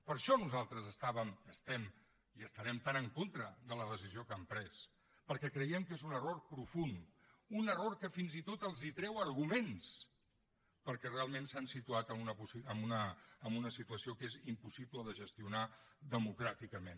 per això nosaltres estàvem estem i estarem tan en contra de la decisió que han pres perquè creiem que és un error profund un error que fins i tot els treu arguments perquè realment s’han situat en una situació que és impossible de gestionar democràticament